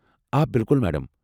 آ بِالکُل، میڈم۔